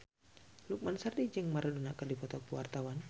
Lukman Sardi jeung Maradona keur dipoto ku wartawan